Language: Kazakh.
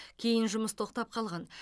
кейін жұмыс тоқтап қалған